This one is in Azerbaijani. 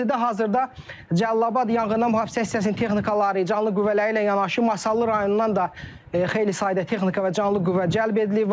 Ərazidə hazırda Cəlilabad yanğından Mühafizə hissəsinin texnikaları, canlı qüvvələri ilə yanaşı Masallı rayonundan da xeyli sayda texnika və canlı qüvvə cəlb edilib.